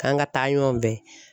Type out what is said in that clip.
K'an ka taa ɲɔgɔn fɛ.